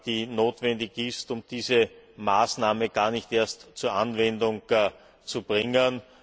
die notwendig ist, um diese Maßnahme gar nicht erst zur Anwendung zu bringen.